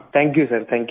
thank you sir thank you